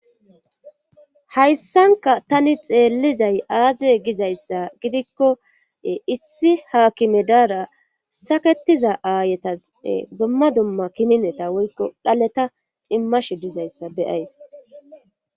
hayssanka tani xeellizay aaziye gizayssa gidikkoe issi haakime daara saketiza aayetase dumma dumma kinineta woykko dhaleta immashe dizayssa beyays